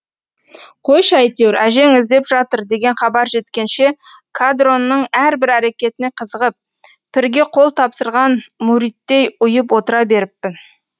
қойшы әйтеуір әжең іздеп жатыр деген хабар жеткенше қадронның әрбір әрекетіне қызығып пірге қол тапсырған мүридтей ұйып отыра беріппін